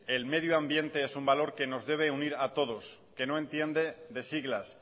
el medio ambiente es un valor que nos debe unir a todos no entiende de siglas